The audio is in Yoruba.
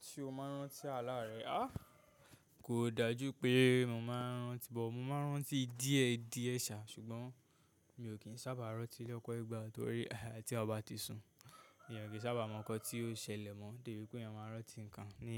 Se o maa n rántí ààlà rẹ. Kò dájú pé mo maa n rántí but, mo maa n rántí díẹ̀ díẹ̀ sá, ṣùgbọ́n mi ò kí ń sábà rántí lọ́pọ́ ìgbà, torí tí eeyan bá ti sun, èèyàn kì í sábà mọ nǹkan tí ó ṣẹlẹ̀ mọ́, dè bí pé eeyan máa rántí nǹkan ní